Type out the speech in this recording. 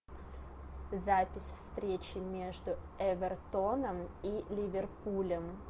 запись встречи между эвертоном и ливерпулем